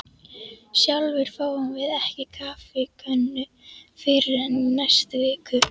Sjálfir fáum við ekki kaffikönnu fyrr en í næstu viku.